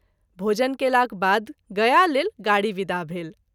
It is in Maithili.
भोजन केलाक बाद गया लेल गाड़ी वीदा भेल।